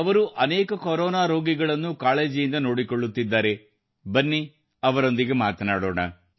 ಅವರು ಅನೇಕ ಕೊರೋನಾ ರೋಗಿಗಳನ್ನು ಕಾಳಜಿಯಿಂದ ನೋಡಿಕೊಳ್ಳುತ್ತಿದ್ದಾರೆ ಬನ್ನಿ ಅವರೊಂದಿಗೆ ಮಾತನಾಡೋಣ